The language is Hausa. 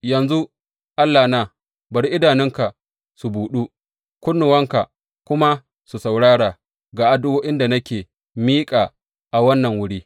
Yanzu, Allahna, bari idanunka su buɗu kunnuwanka kuma su saurara ga addu’o’in da ake miƙa a wannan wuri.